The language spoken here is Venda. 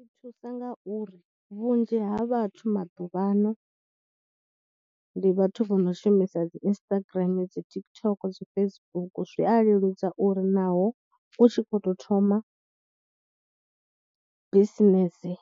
Zwi thusa nga uri vhunzhi ha vhathu maḓuvhano ndi vhathu vho no shumisa dzi Instagram, dzi TikTok, dzi Facebook zwi a leludza uri naho u tshi khou tou thoma bisinese